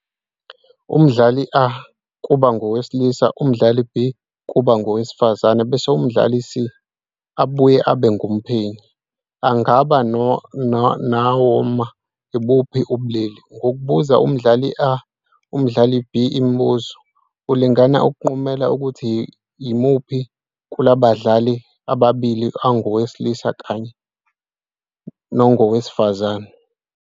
Umdlali A kuba ngowesilisa, umdlali B kuba ngowesifazane bese umdlali C, obuye abe ngumphenyi, angaba ngowanoma ibuphi ubulili. Ngokubuza umdlali A nomdlali B imibuzo, ulinga ukunqumela ukuthi yimuphi kulabadlali ababili ongowesilisa kanye nongowesifazane.